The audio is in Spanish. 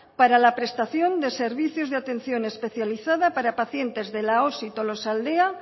para la prestación de servicio de atención especializada para pacientes de la osi tolosaldea